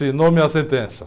Assinou minha sentença.